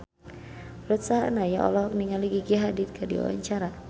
Ruth Sahanaya olohok ningali Gigi Hadid keur diwawancara